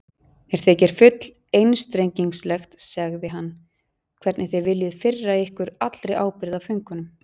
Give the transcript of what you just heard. Mér þykir full einstrengingslegt, sagði hann,-hvernig þið viljið firra ykkur allri ábyrgð á föngunum.